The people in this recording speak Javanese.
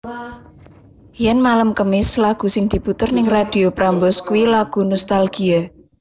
Yen malem kemis lagu sing diputer ning Radio Prambors kui lagu nostalgia